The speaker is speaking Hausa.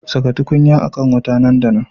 Saka tukunya a kan wuta nan da nan